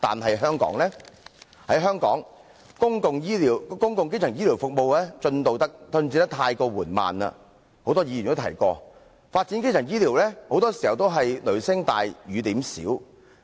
在香港，正如很多議員已提到，公共基層醫療服務進度過於緩慢，發展基層醫療很多時候是"雷聲大，雨點小"。